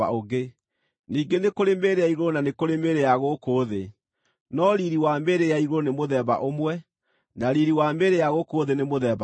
Ningĩ nĩ kũrĩ mĩĩrĩ ya igũrũ na nĩ kũrĩ mĩĩrĩ ya gũkũ thĩ; no riiri wa mĩĩrĩ ya igũrũ nĩ mũthemba ũmwe, na riiri wa mĩĩrĩ ya gũkũ thĩ nĩ mũthemba ũngĩ.